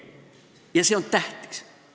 " Ja see on tähtis.